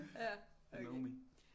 You know me